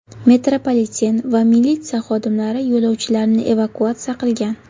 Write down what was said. Metropoliten va militsiya xodimlari yo‘lovchilarni evakuatsiya qilgan.